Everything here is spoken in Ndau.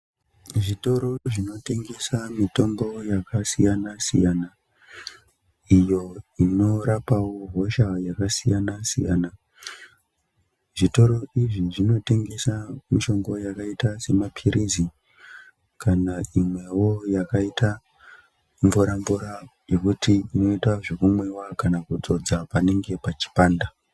Zvikoro zvinotengesa mitombo yakasiyana -siyana, iyo inorapawo hosha yakasiyana -siyana, zvitoro izvi zvinotengesa mishonga yakaita semaphilizi kana imwewo yakaita mvura mvura yekuti inoita zvekumwiwa kana kuzodza panenge pachipanda.